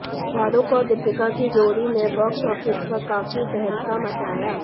शाहरुख और दीपिका की जोड़ी ने बॉक्स ऑफिस पर काफी तहलका मचाया